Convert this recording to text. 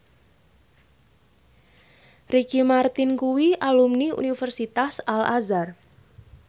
Ricky Martin kuwi alumni Universitas Al Azhar